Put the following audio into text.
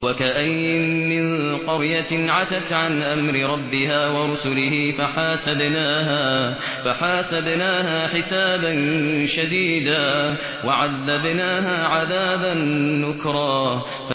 وَكَأَيِّن مِّن قَرْيَةٍ عَتَتْ عَنْ أَمْرِ رَبِّهَا وَرُسُلِهِ فَحَاسَبْنَاهَا حِسَابًا شَدِيدًا وَعَذَّبْنَاهَا عَذَابًا نُّكْرًا